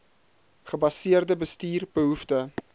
gebaseerde bestuur behoefte